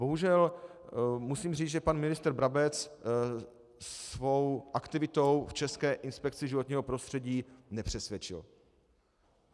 Bohužel musím říct, že pan ministr Brabec svou aktivitou v České inspekci životního prostředí nepřesvědčil.